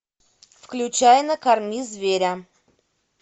включай накорми зверя